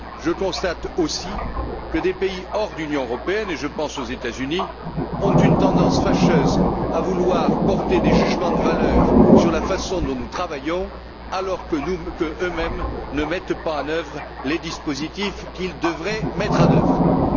Je constate aussi que des pays en dehors de l'Union européenne et je pense aux États Unis ont une tendance fâcheuse à vouloir porter des jugements de valeur sur la façon dont nous travaillons, alors qu'eux mêmes ne mettent pas en œuvre les dispositifs qu'ils devraient appliquer.